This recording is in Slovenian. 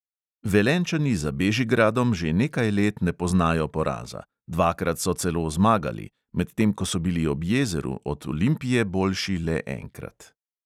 Velenjčani za bežigradom že nekaj let ne poznajo poraza, dvakrat so celo zmagali, medtem ko so bili ob jezeru od olimpije boljši le enkrat.